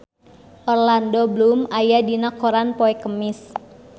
Orlando Bloom aya dina koran poe Kemis